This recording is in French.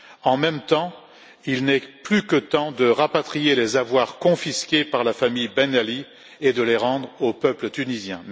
En même temps, il est plus que temps de rapatrier les avoirs confisqués par la famille Ben Ali et de les rendre au peuple tunisien.